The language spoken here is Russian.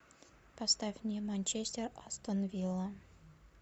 поставь мне манчестер астон вилла